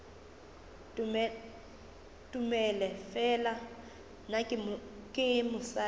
tomele fela nna ke mosadi